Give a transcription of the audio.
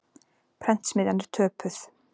Prentsmiðjan er töpuð.